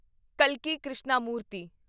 ਕਲਕੀ Krishnamurti